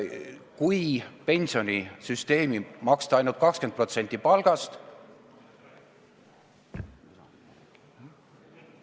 Kui pensionisüsteemi maksta ainult 20% palgast ...